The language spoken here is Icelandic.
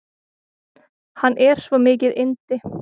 Hann er svo mikið yndi.